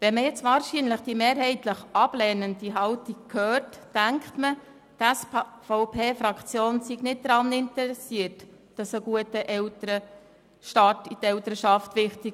Wenn man jetzt diese mehrheitlich ablehnende Haltung hört, denkt mal wohl, die SVP-Fraktion sei nicht an einem guten Elternstart in die Elternschaft interessiert.